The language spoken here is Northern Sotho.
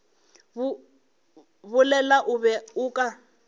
bolela o be o ka